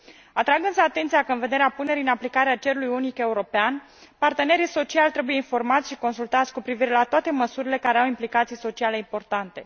Atrag însă atenția că, în vederea punerii în aplicare a cerului unic european, partenerii sociali trebuie informați și consultați cu privire la toate măsurile care au implicații sociale importante.